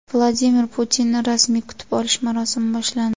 Vladimir Putinni rasmiy kutib olish marosimi boshlandi .